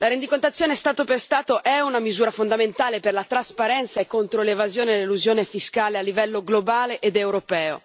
La rendicontazione Stato per Stato è una misura fondamentale per la trasparenza e contro l'evasione e l'elusione fiscale a livello globale ed europeo.